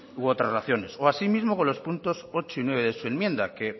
u otras relaciones o asimismo con los puntos ocho y nueve de su enmienda que